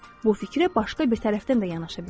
Bu fikrə başqa bir tərəfdən də yanaşa bilərik.